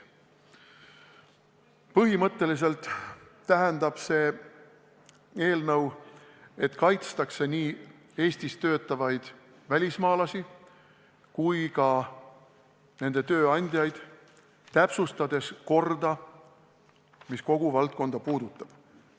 Põhimõtteliselt tähendab see eelnõu, et kaitstakse nii Eestis töötavaid välismaalasi kui ka nende tööandjaid, täpsustades korda, mis kogu valdkonda puudutab.